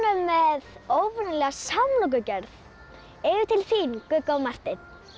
með óvenjulega samlokugerð yfir til þín Gugga og Marteinn